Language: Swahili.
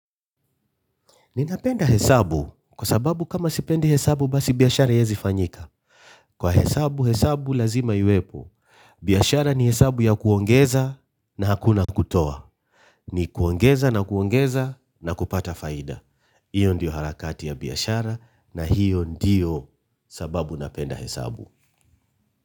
Ninapenda hesabu kwa sababu kama sipendi hesabu basi biashara haiezi fanyika. Kwa hesabu, hesabu lazima iwepo. Biashara ni hesabu ya kuongeza na hakuna kutoa. Ni kuongeza na kuongeza na kupata faida. Hiyo ndiyo harakati ya biashara na hiyo ndiyo sababu napenda hesabu.